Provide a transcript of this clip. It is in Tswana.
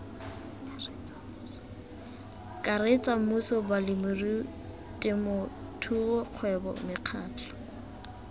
karetsa mmuso balemirui temothuokgwebo mekgatlho